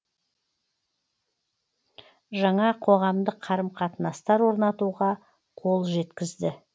жаңа қоғамдық қарым қатынастар орнатуға қол жеткізді